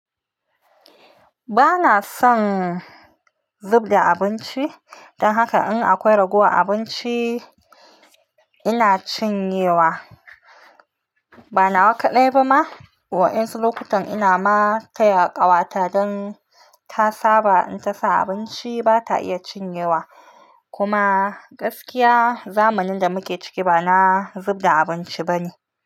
Bana son zub da abinci. Dan haka in akwai ragowar abinci ina cinyewa. Bana nawa kaɗai ba ma. Wa'yansu lokutan ina ma taya ƙawata don ta saba in ta sa abinci bata iya cinyewa. Kuma gaskiya zamanin da muke ciki ba na zubda abinci bane.